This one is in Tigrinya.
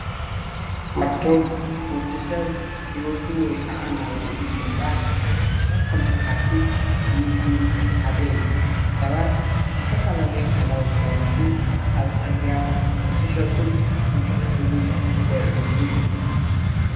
እዚ ካብቶም ወድሰብ ሂወቱ ወይ ክዓ ናብርኡ ንምምራሕ ዝሰርሖም ስራሕቲ ንግዲ ሓደ እዩ። ሰባት ዝተፈላለዩ ባህላዊ ክዳዉንቲ ኣብ ፅርግያ እንትሸጡን እንትዕድጉን ዘርኢ ምስሊ እዩ።